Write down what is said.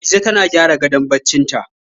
Dije ta gyara gadon barcinta.